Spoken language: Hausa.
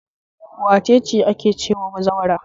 Wace ce ake cewa bazawara?